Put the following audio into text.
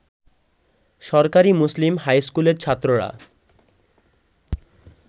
সরকারি মুসলিম হাইস্কুলের ছাত্ররা